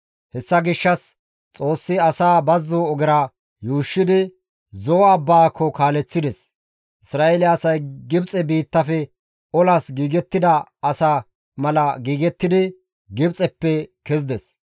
Hessa gishshas Xoossi asaa bazzo ogera yuushshidi, Zo7o abbaako kaaleththides. Isra7eele asay Gibxe biittafe olas giigettida asa mala giigettidi Gibxeppe kezides.